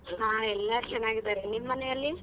ಹ ಎಲ್ಲರೂ ಚೆನ್ನಾಗಿದಾರೆ, ನಿಮ್ ಮನೆಯಲ್ಲಿ?